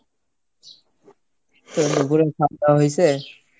তো দুপুরের খাওয়া দাওয়া হইছে?